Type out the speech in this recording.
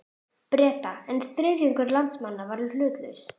Breta, en þriðjungur landsmanna var hlutlaus.